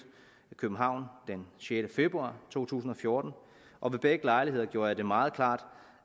københavn den sjette februar to tusind og fjorten og ved begge lejligheder gjorde jeg det meget klart